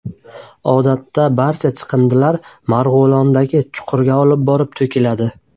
Odatda barcha chiqindilar Marg‘ilondagi chuqurga olib borib to‘kiladi.